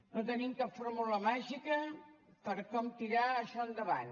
no tenim cap fórmula màgica per com tirar això endavant